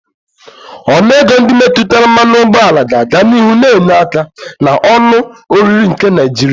Ọnụ ego ndị metụtara mmanụ ụgbọala ga-aga n'ihu na-enye aka na onu oriri nke Naijiria.